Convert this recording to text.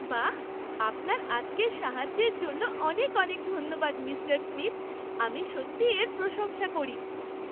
বাহ, আপনার আজকের সাহায্যের জন্য অনেক অনেক ধন্যবাদ, মিঃ স্মিথ। আমি সত্যিই এর প্রশংসা করি!